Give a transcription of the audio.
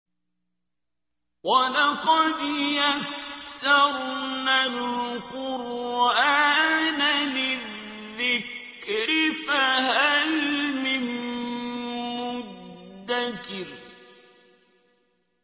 وَلَقَدْ يَسَّرْنَا الْقُرْآنَ لِلذِّكْرِ فَهَلْ مِن مُّدَّكِرٍ